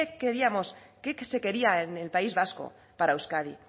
queríamos qué se quería en el país vasco para euskadi